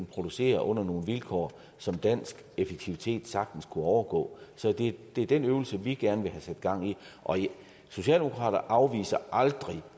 producere under nogle vilkår som dansk effektivitet sagtens kunne overgå så det er den øvelse vi gerne vil have sat gang i socialdemokrater afviser aldrig